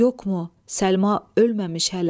Səlma ölməmiş hələ.